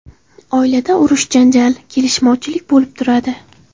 Oilada urush, janjal, kelishmovchilik bo‘lib turadi.